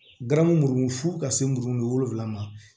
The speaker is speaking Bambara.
Garamu fo ka se muru wolonwula ma